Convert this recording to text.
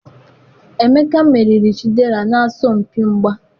emeka meriri Chidera n'asọmpi mgba.